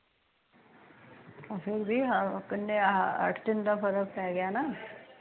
ਅੱਠ ਦਿਨ ਦਾ ਫਰਕ ਪੈ ਗਿਆ ਨਾ